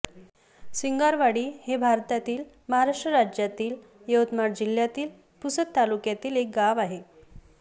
सिंगारवाडी हे भारतातील महाराष्ट्र राज्यातील यवतमाळ जिल्ह्यातील पुसद तालुक्यातील एक गाव आहे